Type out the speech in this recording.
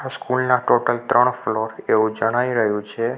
School ના total ત્રણ floor એવું જણાઈ રહ્યું છે.